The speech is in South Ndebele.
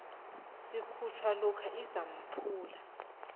sikhutjhwa lokha isampula